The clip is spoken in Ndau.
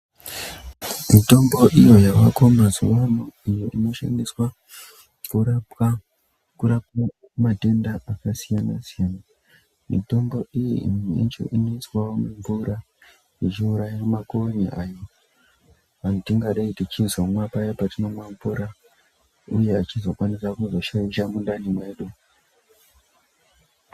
Mitombo iyo yavako mazuvano iyo inoshandiswa kurapwa matenda akasiyana siyana. Mitombo iyi imwe yacho inoiswawo mumvura ichiuraya makonye ayo atingadai tichizomwa paya patinomwa mvura uye achizokwanisa kuzoshaisha mundani mwedu.